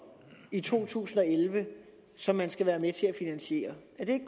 i to tusind og elleve som man skal være med til at finansiere er det